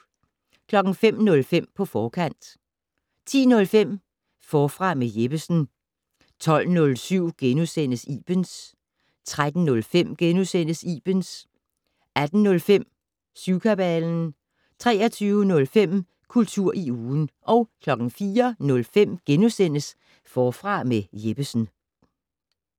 05:05: På forkant 10:05: Forfra med Jeppesen 12:07: Ibens * 13:05: Ibens * 18:05: Syvkabalen 23:05: Kultur i ugen 04:05: Forfra med Jeppesen *